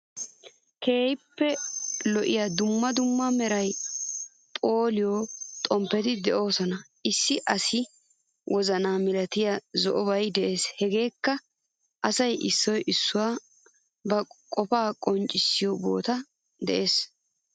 Keehippe lo7iya duummaa duummaa meraa po7iyaa xomppeti d7iyoosan issi asaa woozanaa milatiyaa zo7obay de7ees. Hegeekka asay issoy issuwassi ba qofaa qonccissiyo bottan de7ees.